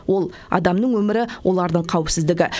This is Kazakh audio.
ол адамның өмірі олардың қауіпсіздігі